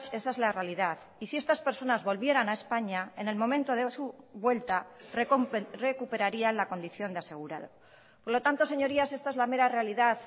esa es la realidad y si estas personas volvieran a españa en el momento de su vuelta recuperarían la condición de asegurado por lo tanto señorías esta es la mera realidad